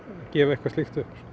gefa eitthvað slíkt upp